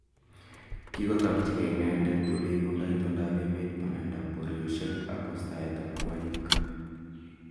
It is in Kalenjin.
Kigotokyi ke inendet oleibundoo itondap emet bananda, poryosyekak wastaet ap kwonyik.